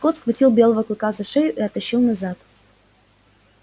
скотт схватил белого клыка за шею и оттащил назад